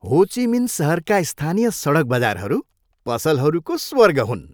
हो Chi Minh सहरका स्थानीय सडक बजारहरू पसलहरूको स्वर्ग हुन्।